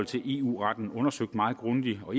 til eu retten undersøgt meget grundigt og